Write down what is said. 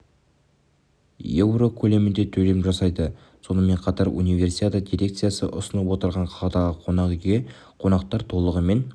еуро көлемінде төлем жасайды сонымен қатар универсиада дирекциясы ұсынып отырған қаладағы қонақ үйге қонақтар толығымен